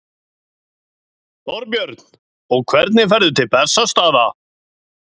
Þorbjörn: Og hvenær ferðu til Bessastaða?